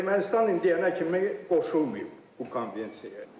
Ermənistan indiyənə kimi qoşulmayıb bu konvensiyaya.